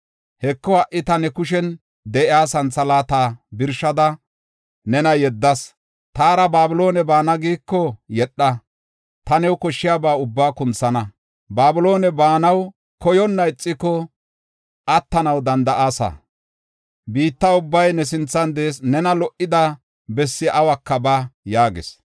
Heko, ha77i ta ne kushen de7iya santhalaata birshada nena yeddas. Taara Babiloone baana giiko yedha; ta new koshshiyaba ubbaa kunthana. Babiloone baanaw koyonna ixiko attanaw danda7aasa. Biitta ubbay ne sinthan de7ees; nena lo77ida bessi awuka ba” yaagis.